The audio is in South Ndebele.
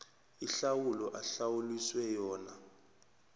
ihlawulo ahlawuliswe yona